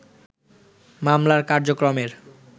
মামলার কার্যক্রমের